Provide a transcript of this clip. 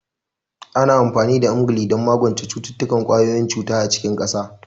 Ana amfani da Emgyl don magance cututtukan ƙwayoyin cuta a cikin ƙasa.